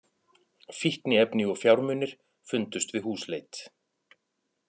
Fíkniefni og fjármunir fundust við húsleit